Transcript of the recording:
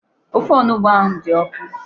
Ofe onugbu ahụ dị ọkụ.